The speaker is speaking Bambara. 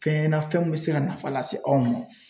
Fɛn na fɛn min be se ka nafa lase anw ma